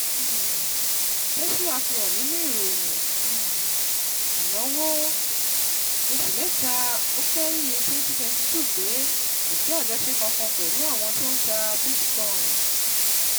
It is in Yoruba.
um Tesla fihan ninu ìròyìn um ìnáwó oṣù mẹ́ta ọ̀kẹ́yìn twenty twenty two pé kò sí àjọṣe kankan pẹ̀lú àwọn tó ń tà BITCOIN.